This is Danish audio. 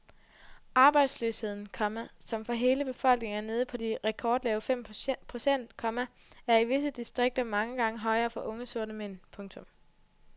Arbejdsløsheden, komma som for hele befolkningen er nede på de rekordlave fem procent, komma er i visse distrikter mange gange højere for unge sorte mænd. punktum